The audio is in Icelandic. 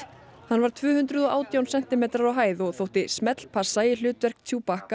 hann var tvö hundruð og átján sentimetrar á hæð og þótti smellpassa í hlutverk